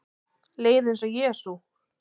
Leið eins og Jesú